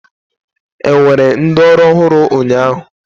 Enwere ndị ọrụ ọhụrụ ụnyaahụ?